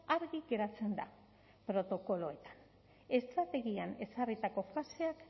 argi geratzen da protokoloetan estrategian ezarritako faseak